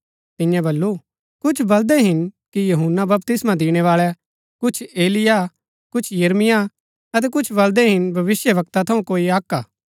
तिन्यै बल्लू कुछ बलदै हिन कि यूहन्‍ना बपतिस्मा दिणैबाळै कुछ एलिय्याह कुछ यिर्मयाह अतै कुछ बलदै हिन भविष्‍यवक्ता थऊँ कोई अक्क हा